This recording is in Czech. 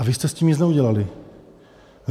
A vy jste s tím nic neudělali.